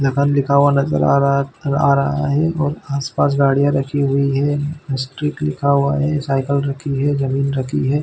लखन लिखा हुआ नज़र आ रहा है आ रहा है आसपास गाड़ियाँ रखी हुई है स्ट्रीट लिखा हुआ है साइकिल रखी हुई है जमीन रखी हुई हैं।